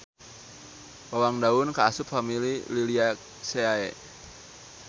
Bawang daun kaasup famili Liliaceae.